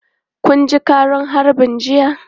Kun ji ƙaran harbin jiya?